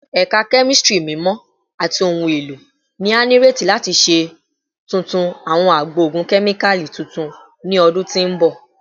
Ẹka Kemistri Mimọ ati Ohun elo ni a nireti lati ṣe tuntun awọn agbo ogun kemikali tuntun ni ọdun ti n bọ